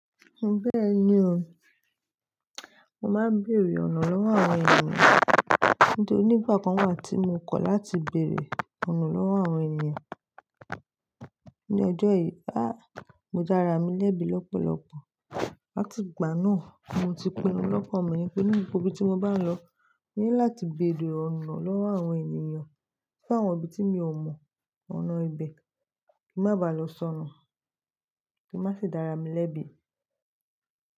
Bẹ́ẹ̀ni o, mo máa ń bèrè ọ̀nà lọ́wọ́ àwọn ènìyàn. Nítorí nígbà kan wà tí mo kọ̀ láti bèrè ọ̀nà lọ́wọ́ àwọn ènìyàn. Ni ọjọ́ yìí, áà mọ dára mi lẹ́bi lọ́pọ̀lọpọ̀. Láti ìgbà náà, mo ti pinnu lọ́kàn mi pé ní gbogbo tí mo bá lọ, mo ní láti béèrè ọ̀nà lọ́wọ́ àwọn ènìyàn. Bí àwọn ibi tí mi ò mọ̀ ọ̀nà ibẹ̀ kí n má bàá lọ sọnù, kí n má sì dára mi lẹ́bi.